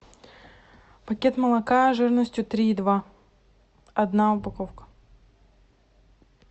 пакет молока жирностью три и два одна упаковка